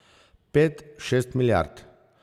Pet, šest milijard.